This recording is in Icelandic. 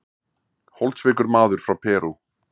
Holdsveikur maður frá Perú.